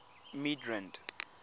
midrand